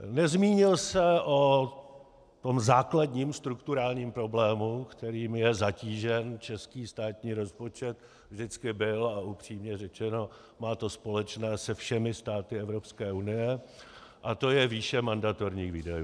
Nezmínil se o tom základním strukturálním problému, kterým je zatížen český státní rozpočet, vždycky byl a upřímně řečeno má to společné se všemi státy Evropské unie, a to je výše mandatorních výdajů.